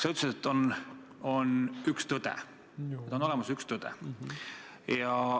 Sa ütlesid, et on olemas üks tõde.